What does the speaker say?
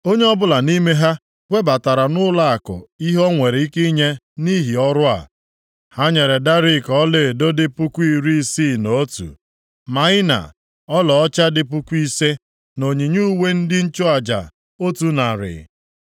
Onye ọbụla nʼime ha webatara nʼụlọakụ ihe o nwere ike inye nʼihi ọrụ a. Ha nyere darik ọlaedo dị puku iri isii na otu (61,000), + 2:69 Maọbụ, narị kilogram ise, maịna ọlaọcha dị puku ise (5,000) + 2:69 Maọbụ, ọlaọcha ruru puku kilogram atọ na onyinye uwe ndị nchụaja, otu narị (100).